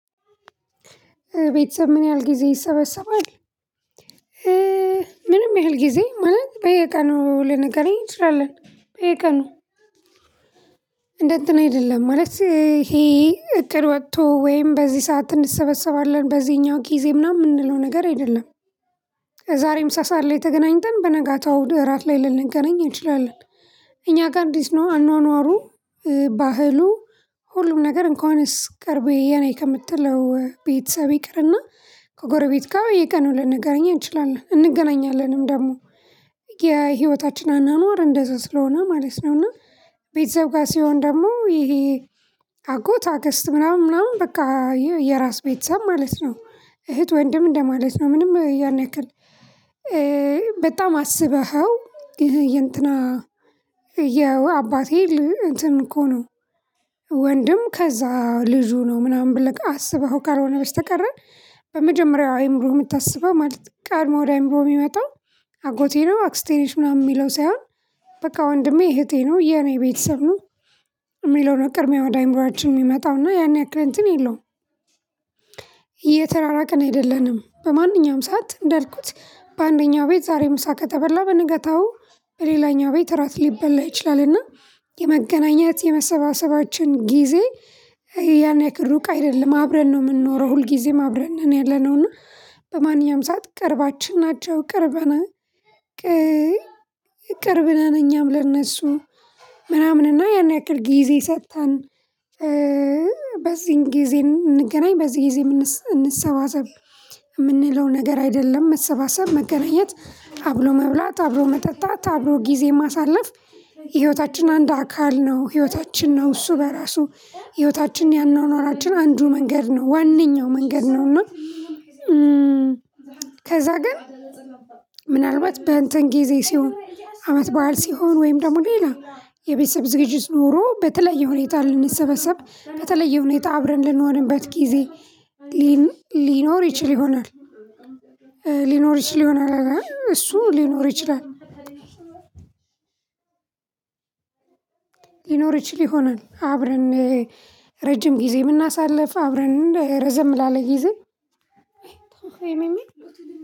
ቤተሰብ ምን ያህል ጊዜ ይሰበሰባል? ምንም ያህል ጊዜ ማለት በየቀኑ ልንገናኝ እንችላለን። በየቀኑ እንደ እንትን አይደለም ማለት ይሄ እቅድ ወጥቶ ወይም በዚህ ሰዓት እንሰበሰባለን በዚህኛው ጊዜ ምናምን የምንለው ነገር አይደለም። ዛሬም ምሳ ሰዓት ላይ ተገናኝተን በነጋታው እራት ላይ ልንገናኝ እንችላለን። እኛ ጋር እንዴት ነው አኗኗሩ? ባህሉ ሁሉም ነገር እንኳንስ ቅርቤ የኔ ከምትለው ቤተሰብ ይቅርና ከጎረቤት ጋር በየቀኑ ልንገርኝ እንችላለን እንገናኛለንም ደግሞ። የህይወታችን አኗኗር እንደዛ ስለሆነ ማለት ነው። እና ቤተሰብ ጋር ሲሆን ደግሞ ይሄ አጎት አክስት ምናምን ምናምን በቃ የራስ ቤተሰብ ማለት ነው። እህት ወንድም እንደማለት ነው ምንም ያን ያክል። በጣም አስበኸው ይሄ የእንትና የአባቴ እንትን እኮ ነው። ወንድም ከዛ ልጁ ነው ምናምን ብለህ አስበኸው ካልሆነ በስተቀረ። በመጀመሪያው አእምሮ የምታስበው ማለት ቀድሞ ወደ አይምሮ የሚመጣው። አጎቴ ነው አክስቴ ነች ምናምን የሚለው ሳይሆን። በቃ ወንድሜ እህቴ ነው የኔ ቤተሰብ ነው። የሚለው ነው ቅድሚያ ወደ አእምሮአችን የሚመጣውና ያን ያክል እንትን የለውም። የተራራቅን አይደለንም በማንኛውም ሰዓት እንዳልኩት አንደኛው ቤት ዛሬ ምሳ ከተበላ በንጋታው በሌላኛው ቤት እራት ሊበላ ይችላልና። የመገናኘት የመሰባሰባችን ጊዜ ያን ያክል ሩቅ አይደለም። አብረን ነው የምንኖረው ሁል ጊዜም አብረን ነን ያለነው እና። በማንኛውም ሰዓት ቅርባችን ናቸው። ቅርብ ነው እኛም ለእነሱ ምናምንና ያን ያክል ጊዜ ሰጥተን። በዚህን ጊዜ እንገናኝ በዚህ ጊዜ እንሰባሰብ የምንለው ነገር አይደለም። መሰባሰብ መገናኘት አብሮ መብላት አብሮ መጠጣት አብሮ ጊዜ ማሳለፍ። የህይወታችን አንድ አካል ነው ህይወታችን ነው እሱ በራሱ። ህይወታችን ያኗኗራችን አንዱ መንገድ ነው ዋነኛው መንገድ ነው እና። ከዛ ግን ምናልባት በእንትን ጊዜ ሲሆን አመት በዓል ሲሆን ወይም ደግሞ ሌላ የቤተሰብ ዝግጅት ኖሮ በተለየ ሁኔታ ልንሰበሰብ በተለየ ሁኔታ አብረን ልንሆንበት ጊዜ ሊኖር ይችል ይሆናል። ሊኖር ይችል ይሆናል እሱ ሊኖር ይችላል። ይችል ይሆናል አብረን ረጅም ጊዜ የምናሳልፍ አብረን ረዘም ላለ ጊዜ